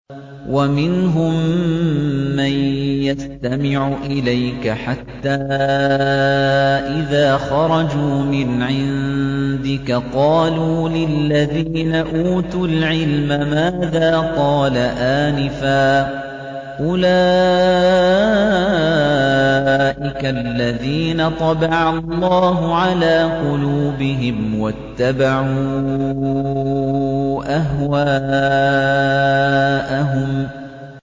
وَمِنْهُم مَّن يَسْتَمِعُ إِلَيْكَ حَتَّىٰ إِذَا خَرَجُوا مِنْ عِندِكَ قَالُوا لِلَّذِينَ أُوتُوا الْعِلْمَ مَاذَا قَالَ آنِفًا ۚ أُولَٰئِكَ الَّذِينَ طَبَعَ اللَّهُ عَلَىٰ قُلُوبِهِمْ وَاتَّبَعُوا أَهْوَاءَهُمْ